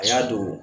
A y'a don